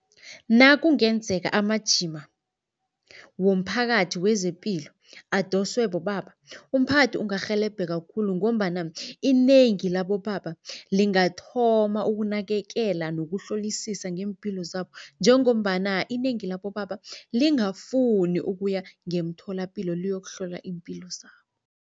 Nakungenzeka amajima womphakathi wezepilo adoswe bobaba, umphakathi ungarhelebheka khulu ngombana inengi labobaba lingathoma ukunakekela nokuhlolisisa ngeempilo zabo, njengombana inengi labobaba lingafuni ukuya ngemtholapilo liyokuhlola iimpilo zabo.